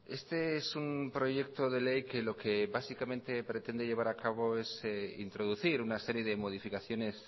este es un proyecto de ley que lo que básicamente pretende llevar a cabo es introducir una serie de modificaciones